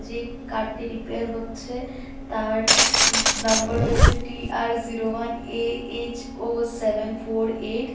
যেই কারটি রিপেয়ার হচ্ছে তার উ নম্বর হয়েছে T R zero one A H O seven four eight .